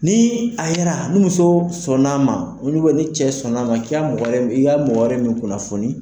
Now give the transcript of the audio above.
Ni a yera ni muso sɔnn'a ma ni cɛ sɔnn'a ma k'i ka mɔgɔ wɛrɛ min kunnafoni